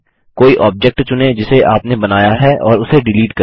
कोई ऑब्जेक्ट चुनें जिसे आपने बनाया है और इसे डिलीट करें